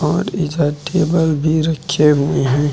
और एजा टेबल भी रखे हुए हैं।